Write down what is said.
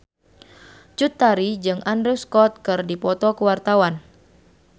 Cut Tari jeung Andrew Scott keur dipoto ku wartawan